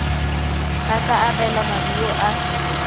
ba tla abelwa maduo a